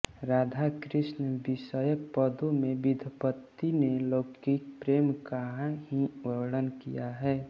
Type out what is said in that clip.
राधा कृष्ण विषयक पदों में विद्यापति ने लौकिक प्रेम का ही वर्णन किया है